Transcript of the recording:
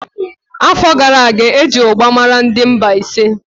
Afọ gara aga, eji ugba mara ndị Mbaise.